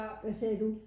Hvad sagde du?